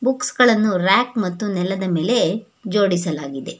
Books ಗಳನ್ನು rack ಮತ್ತು ನೆಲದ ಮೇಲೆ ಜೋಡಿಸಲಾಗಿದೆ.